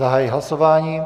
Zahajuji hlasování.